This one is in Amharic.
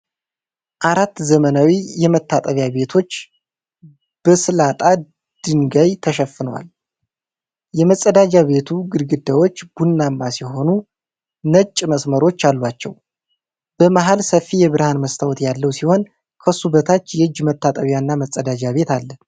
አራት ዘመናዊ መታጠቢያ ቤቶች በስላጣ ድንጋይ ተሸፍነዋል። የመጸዳጃ ቤቱ ግድግዳዎች ቡናማ ሲሆኑ ነጭ መስመሮች አሏቸው። በመሃል ሰፊ የብርሃን መስታወት ያለው ሲሆን ከሱ በታች የእጅ መታጠቢያና መጸዳጃ ቤት አለ።